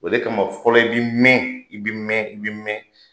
O de kama fɔlɔ i bɛ mɛn i bɛ mɛn i bɛ mɛn.